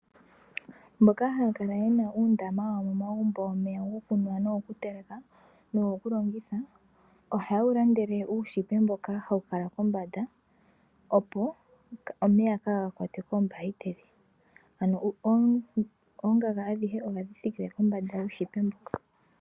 Mboka ha ya kala yena uundama wa wo momagumbo womeya gokunwa nogo kuteleka, no go kulongitha, oha ye wulandele uunete mboka ha wu kala kombanda, opo omeya kaagakwatwe koombahiteli, ano oongaga adhihe oha dhi thikile kombanda yuunete mboka.